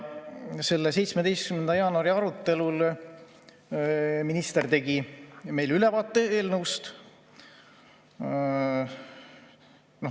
Sellel 17. jaanuari arutelul tegi minister meile eelnõust ülevaate.